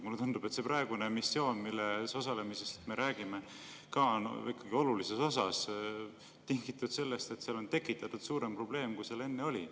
Mulle tundub, et see missioon, milles osalemisest me praegu räägime, on ikkagi olulises osas ka tingitud sellest, et seal on tekitatud suurem probleem, kui seal enne oli.